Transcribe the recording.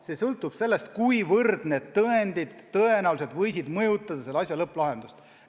Kõik sõltub sellest, kui tõenäoliselt need tõendid mõjutasid asja lõpplahendust.